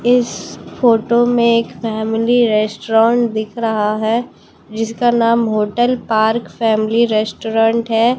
इस फोटो में एक फैमली रेस्टोरेंट दिख रहा है जिसका नाम होटल पार्क फैमली रेस्टोरेंट है।